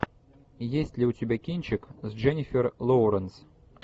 есть ли у тебя кинчик с дженнифер лоуренс